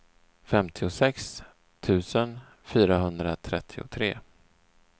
femtiosex tusen fyrahundratrettiotre